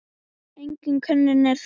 Engin könnun er það.